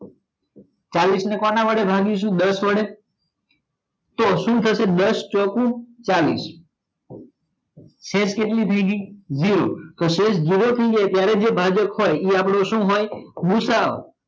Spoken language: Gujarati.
ચાલીસ ને કોણ વડે ભાગીસુ દસ વડે તો સુ થસે દસ ચોક ચાલીસ શેષ કેટલી થાય ગઈ જીરો શેષ જીરો થાય જાય ત્યાં જે અઅપડો ભાજક હોય ઈ અપડો હોય ગૂસાઅ હોય